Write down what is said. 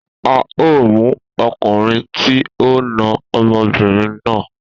A o mu okunrin ti o na omobirin na.